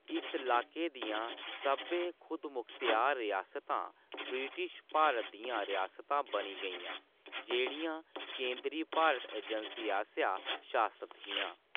इस लाके दियां सब्भै खुदमख्तयार रियासतां ब्रिटिश भारत दियां रियासतां बनी गेइयां, जेह्‌‌ड़ियां केंदरी भारत आजैंसी आसेआ शासत हियां।